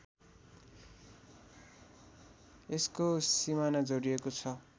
यसको सिमाना जोडिएको छ